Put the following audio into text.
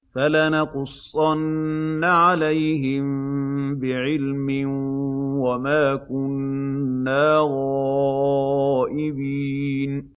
فَلَنَقُصَّنَّ عَلَيْهِم بِعِلْمٍ ۖ وَمَا كُنَّا غَائِبِينَ